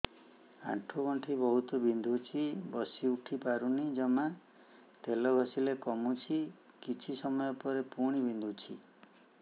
ଆଣ୍ଠୁଗଣ୍ଠି ବହୁତ ବିନ୍ଧୁଛି ବସିଉଠି ପାରୁନି ଜମା ତେଲ ଘଷିଲେ କମୁଛି କିଛି ସମୟ ପରେ ପୁଣି ବିନ୍ଧୁଛି